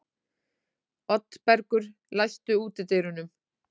Oddbergur, læstu útidyrunum.